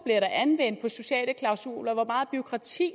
der sociale klausuler hvor meget bureaukrati